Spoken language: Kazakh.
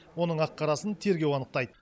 оның ақ қарасын тергеу анықтайды